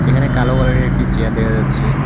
এখানে কালো কালার -এর একটি চেয়ার দেখা যাচ্ছে।